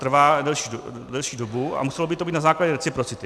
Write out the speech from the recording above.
Trvá delší dobu a muselo by to být na základě věci reciprocity.